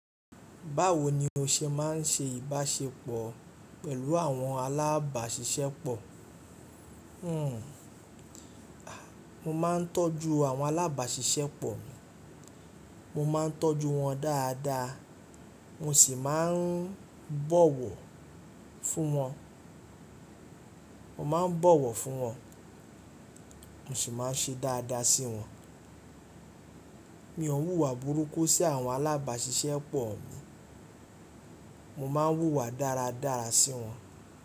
Báwo ni o ṣe má ń ṣe ìbáṣepọ̀ pẹ̀lú àwọn alábàáṣiṣẹ́ pọ̀? Hmm, a, mo máa ń tọ́jú àwọn alábàáṣiṣẹ́ pọ̀, mo máa ń tọ́jú wọn dáadáa, mo sì máa ń bọ̀wọ̀ fún wọn, mo máa ń bọ̀wọ̀ fún wọn mo sì máa ń ṣe dáadáa sí wọn. Mi ò wùwà burúkú sí àwọn alábàáṣiṣẹ́ pọ̀ mi, mo máa ń wùwà dáradára sí wọn.